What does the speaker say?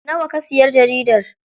Nawa ka siya jaridar?